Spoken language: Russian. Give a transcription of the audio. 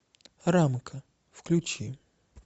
рамка включи